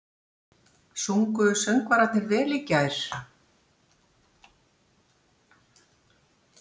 Sungu söngvararnir vel í gær?